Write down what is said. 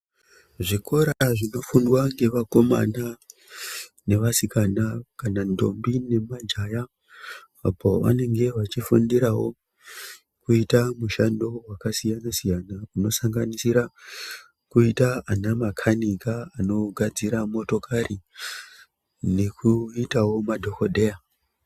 Zvikora zvinofundwa ngevakomana nevasikana, kana ndombi nemajaya apo vanenge vachifundirawo kuita mushando wakasiyana siyana inosanganisira kuita vanamakanika vanogadzira motokari nekuitawo madhokodheya.